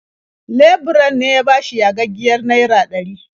Leburan ne ya bashi yagaggiyar naira ɗari.